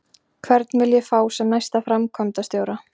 Hvern vil ég fá sem næsta framkvæmdastjóra?